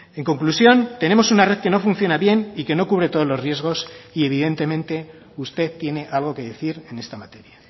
en conclusión tenemos una red que no funciona bien y que no cubre todos los riesgos y evidentemente usted tiene algo que decir en esta materia